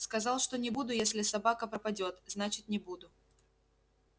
сказал что не буду если собака пропадёт значит не буду